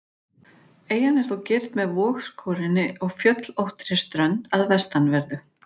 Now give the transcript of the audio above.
Eyjan er þó girt með vogskorinni og fjöllóttri strönd að vestanverðu.